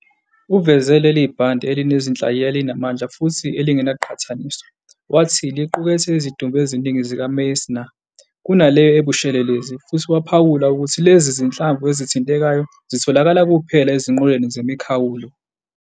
Uveze leli bhande elinezinhlayiya ezinamandla futhi elingenakuqhathaniswa, wathi "liqukethe izidumbu eziningi zikaMeissner kunaleyo ebushelelezi", futhi waphawula ukuthi lezi zinhlamvu ezithintekayo zitholakala kuphela ezinqoleni zemikhawulo.